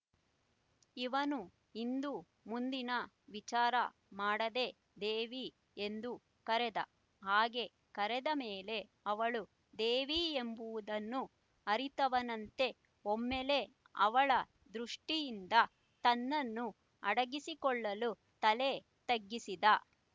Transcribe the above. ಇವನು ಹಿಂದುಮುಂದಿನ ವಿಚಾರ ಮಾಡದೇ ದೇವಿ ಎಂದು ಕರೆದ ಹಾಗೆ ಕರೆದ ಮೇಲೆ ಅವಳು ದೇವಿ ಎಂಬುವುದನ್ನು ಅರಿತವನಂತೆ ಒಮ್ಮೆಲೇ ಅವಳ ದೃಷ್ಟಿಯಿಂದ ತನ್ನನ್ನು ಅಡಗಿಸಿಕೊಳ್ಳಲು ತಲೆ ತಗ್ಗಿಸಿದ